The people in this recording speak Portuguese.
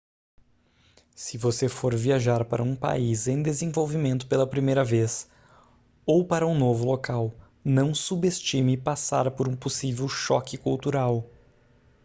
se você for viajar para um país em desenvolvimento pela primeira vez ou para um novo local não subestime passar por um possível choque cultural